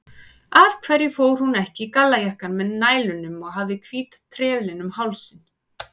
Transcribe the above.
Af hverju fór hún ekki í gallajakkann með nælunum og hafði hvíta trefilinn um hálsinn?